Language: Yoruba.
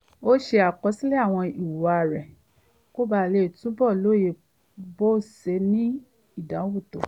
ó ṣe àkọsílẹ̀ àwọn ìhùwàsí rẹ̀ kó bàa lè túbọ̀ lóye bó ṣe ń ní ìdààmú tó